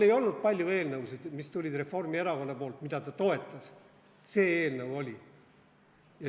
Ei olnud palju Reformierakonnast tulnud eelnõusid, mida ta toetas, aga see eelnõu oli.